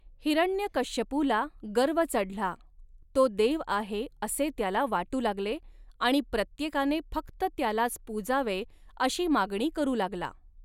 हिरण्यकश्यपूला गर्व चढला, तो देव आहे असे त्याला वाटू लागले, आणि प्रत्येकाने फक्त त्यालाच पूजावे अशी मागणी करू लागला.